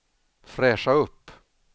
fräscha upp